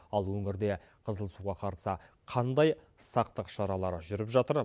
ал өңірде қызыл суға қарсы қандай сақтық шаралары жүріп жатыр